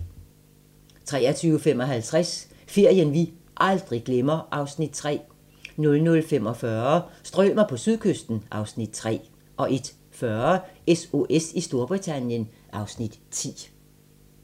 23:55: Ferien vi aldrig glemmer (Afs. 3) 00:45: Strømer på sydkysten (Afs. 3) 01:40: SOS i Storbritannien (Afs. 10)